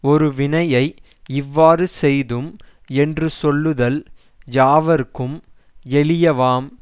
ஒரு வினையை இவ்வாறு செய்தும் என்று சொல்லுதல் யாவர்க்கும் எளியவாம்